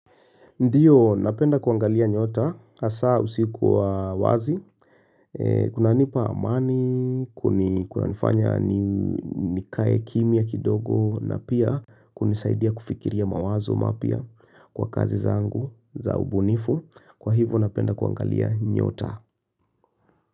Ndiyo, napenda kuangalia nyota, hasa usiku wa wazi, kunanipa amani, kuna nifanya nikae kimya kidogo, na pia kunisaidia kufikiria mawazo mapya kwa kazi zangu, za ubunifu, kwa hivyo napenda kuangalia nyota.